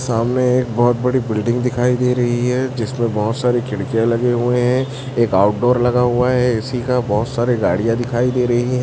सामने एक बहोत बड़ी बिल्डिंग दिखाई दे रही है जिसमें बहोत सारी खिड़कियां लगे हुए हैं एक आउटडोर लगा हुआ है ए_सी का बहोत सारे गाड़ियां दिखाई दे रही है।